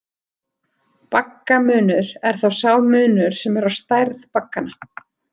Baggamunur er þá sá munur sem er á stærð bagganna.